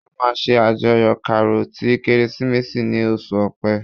A máa ṣe àjọyọ̀ Karo ti Kérésìmesì ni oṣù ọpẹ